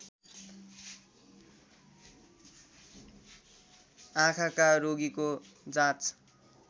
आँखाका रोगीको जाँच